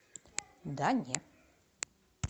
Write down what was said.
да не